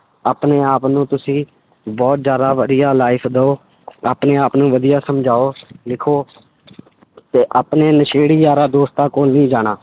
ਆਪਣੇ ਆਪ ਨੂੰ ਤੁਸੀਂ ਬਹੁਤ ਜ਼ਿਆਦਾ ਵਧੀਆ life ਦਓ ਆਪਣੇ ਆਪ ਨੂੰ ਵਧੀਆ ਸਮਝਾਓ ਲਿਖੋ ਤੇ ਆਪਣੇ ਨਸ਼ੇੜੀ ਯਾਰਾਂ ਦੋਸਤਾਂ ਕੋਲ ਨਹੀਂ ਜਾਣਾ।